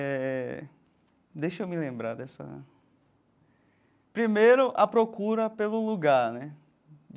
Éh... Deixa eu me lembrar dessa... Primeiro, a procura pelo lugar, né?